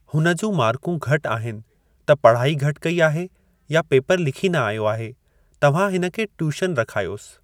हुन जूं मार्कूं घटि आहिनि त पढ़ाई घटि कई आहे या पेपर लिखी न आयो आहे। तव्हां हिन खे टयूशन रखायोसि।